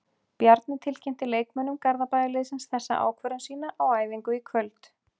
Bjarni tilkynnti leikmönnum Garðabæjarliðsins þessa ákvörðun sína á æfingu í kvöld.